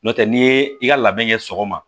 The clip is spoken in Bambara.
N'o tɛ n'i ye i ka labɛn kɛ sɔgɔma